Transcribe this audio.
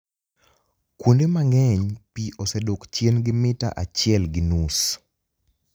Kuonide manig'eniy, pi osedok chieni gi mita achiel gi nius.